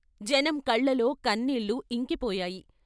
జనం కళ్ళలో కన్నీళ్ళు ఇంకిపోయాయి.